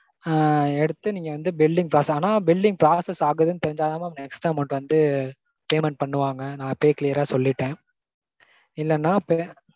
ஆஹ் எடுத்து நீங்க வந்து billing process ஆனா billing process ஆகுதுனு தெரிஞ்சாதா mam extra amount வந்து payment பண்ணுவாங்க நா இப்பயே clear ஆ சொல்லிட்டேன்.